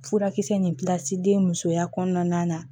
Furakisɛ nin musoya kɔnɔna na